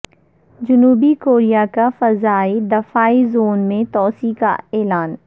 جنوبی کوریا کا فضائی دفاعی زون میں توسیع کا اعلان